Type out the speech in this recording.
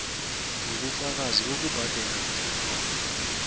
wobufakazi bokubhadela beforomo